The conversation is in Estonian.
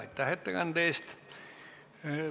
Aitäh ettekande eest!